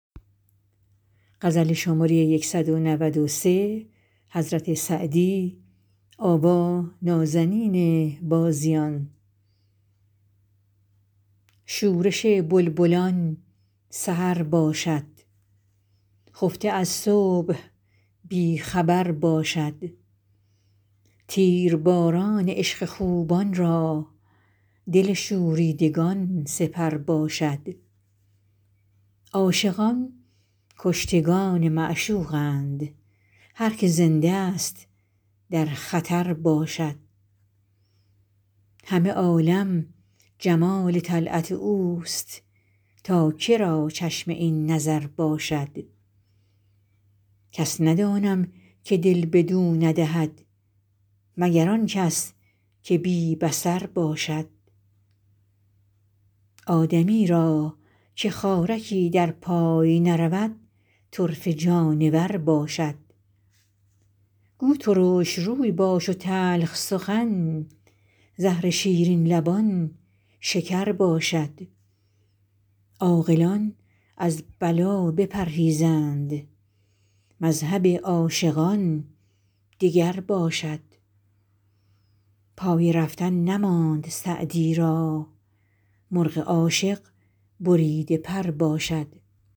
شورش بلبلان سحر باشد خفته از صبح بی خبر باشد تیرباران عشق خوبان را دل شوریدگان سپر باشد عاشقان کشتگان معشوقند هر که زنده ست در خطر باشد همه عالم جمال طلعت اوست تا که را چشم این نظر باشد کس ندانم که دل بدو ندهد مگر آن کس که بی بصر باشد آدمی را که خارکی در پای نرود طرفه جانور باشد گو ترش روی باش و تلخ سخن زهر شیرین لبان شکر باشد عاقلان از بلا بپرهیزند مذهب عاشقان دگر باشد پای رفتن نماند سعدی را مرغ عاشق بریده پر باشد